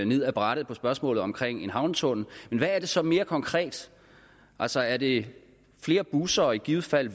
ned ad brættet i spørgsmålet om en havnetunnel men hvad er det så mere konkret altså er det flere busser og i givet fald